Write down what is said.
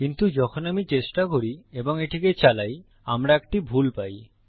কিন্তু যখন আমি চেষ্টা করি এবং এটিকে চালাই আমরা একটি ভুল পাই